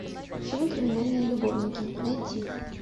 фильм криминальные любовники найти